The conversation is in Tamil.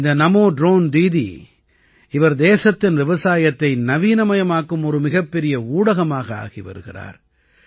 இந்த நமோ ட்ரோன் தீதி இவர் தேசத்தின் விவசாயத்தை நவீனமயமாக்கும் ஒரு மிகப்பெரிய ஊடகமாக ஆகி வருகிறார்